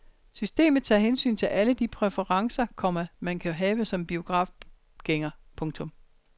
Systemet tager hensyn til alle de præferencer, komma man kan have som biografgænger. punktum